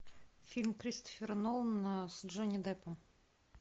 фильм кристофера нолана с джонни деппом